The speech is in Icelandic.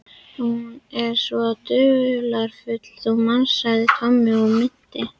Hún er svo dularfull, þú manst sagði Tommi og minnti